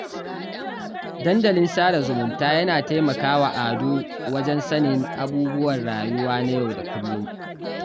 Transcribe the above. Dandalin sada zumunta ya taimaka wa Ado wajen sanin abubuwan rayuwa na yau da kullum